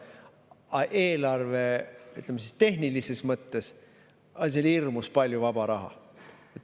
Aga eelarvetehnilises mõttes on seal hirmus palju vaba raha.